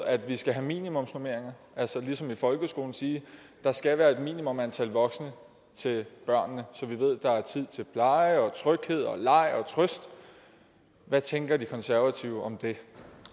at vi skal have minimumsnormeringer at altså ligesom i folkeskolen siger at der skal være et minimum antal voksne til børnene så vi ved at der er tid til pleje og tryghed leg og trøst hvad tænker de konservative om det